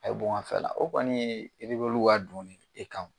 Mɛ a fɛla o kɔni ye ka don ne e kan o,